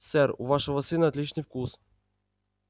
сэр у вашего сына отличный вкус